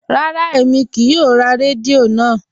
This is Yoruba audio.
Rárá, èmi kíì yóò rá rẹ́díò náà.